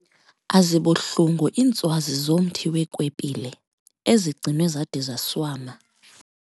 Azibuhlungu iintswazi zomthi weekwepile ezigcinwe zade zaswama.